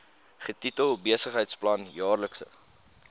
getitel besigheidsplan jaarlikse